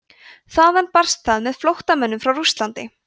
þaðan barst það með flóttamönnum frá rússlandi